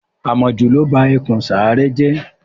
Àmojù ló ba ẹkùn Sàáré jẹ́.